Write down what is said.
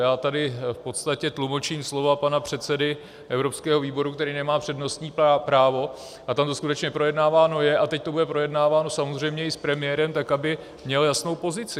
Já tady v podstatě tlumočím slova pana předsedy evropského výboru, který nemá přednostní právo, a tam to skutečně projednáváno je a teď to bude projednáváno samozřejmě i s premiérem tak, aby měl jasnou pozici.